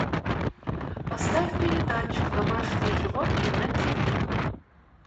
поставь передачу домашние животные на тиви